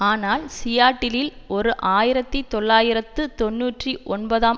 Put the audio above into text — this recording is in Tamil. ஆனால் சியாட்டிலில் ஓர் ஆயிரத்தி தொள்ளாயிரத்து தொன்னூற்றி ஒன்பதாம்